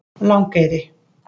Langeyri